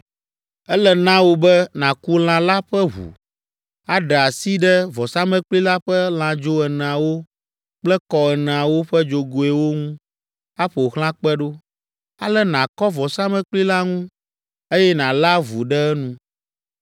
Ele na wò be nàku lã la ƒe ʋu aɖe asi ɖe vɔsamlekpui la ƒe lãdzo eneawo kple kɔ eneawo ƒe dzogoewo ŋu aƒo xlã kpe ɖo, ale nàkɔ vɔsamlekpui la ŋu, eye nàlé avu ɖe enu.